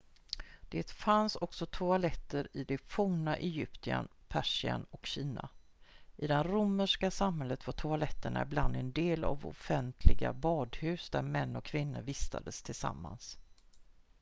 det fanns också toaletter i det forna egypten persien och kina i den romerska samhället var toaletter ibland en del av offentliga badhus där män och kvinnor vistades tillsammans